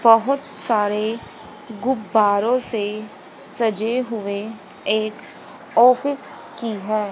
बहोत सारे गुब्बारों से सजे हुए एक ऑफिस की है।